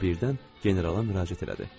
O birdən generala müraciət elədi.